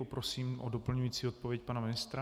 Prosím o doplňující odpověď pana ministra.